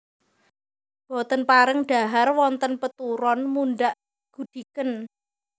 Boten pareng dhahar wonten peturon mundhak gudhigen